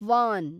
von